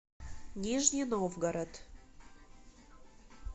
нижний новгород